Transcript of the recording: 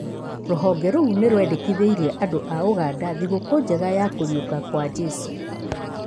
Rũhonge rũu nĩ rwendekithĩirie andũ a ũganda thigũkũ njega ya kũriũka gwa Jesũ